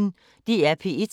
DR P1